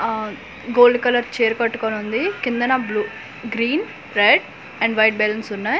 ఆ gold colour చీర కట్టుకొని ఉంది కింద న blue green red and white balloons ఉన్నాయి.